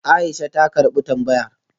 Aisha ta karbi tambayar